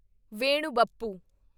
Venu Bappu